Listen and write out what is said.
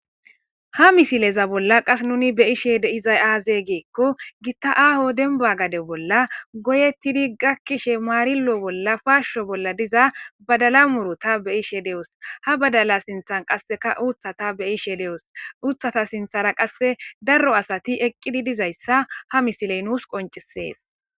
Ha misileza bolla qas nuni be ished izay aaze geekko gitta aaho denba gade bolla goyettidi gakkishe maarilo bolla paasho bolla diza badala murota be ishe de'os ha badala sinthan qasseka uuthata beyishe de'os uuthata sinthara qasse darro asati eqqidi dizayssa ha misiley nuus qoncisees.